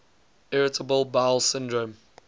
irritable bowel syndrome